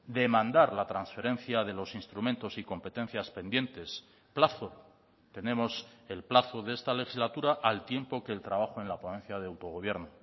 demandar la transferencia de los instrumentos y competencias pendientes plazo tenemos el plazo de esta legislatura al tiempo que el trabajo en la ponencia de autogobierno